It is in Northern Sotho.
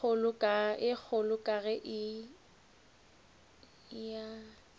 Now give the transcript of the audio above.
ye kgolo ka ge a